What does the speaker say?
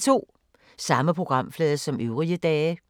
Samme programflade som øvrige dage